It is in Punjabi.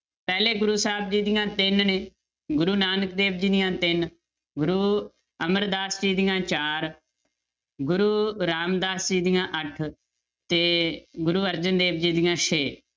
ਪਹਿਲੇ ਗੁਰੂ ਸਾਹਿਬ ਜੀ ਦੀਆਂ ਤਿੰਨ ਨੇ ਗੁਰੂ ਨਾਨਕ ਦੇਵ ਜੀ ਦੀਆਂਂ ਤਿੰਨ, ਗੁਰੂ ਅਮਰਦਾਸ ਜੀ ਦੀਆਂ ਚਾਰ, ਗੁਰੂ ਰਾਮਦਾਸ ਜੀ ਦੀਆਂਂ ਅੱਠ ਤੇ ਗੁਰੂ ਅਰਜਨ ਦੇਵ ਜੀ ਦੀਆਂ ਛੇ